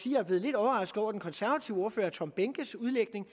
jeg blev lidt overrasket over den konservative ordførers herre tom behnkes udlægning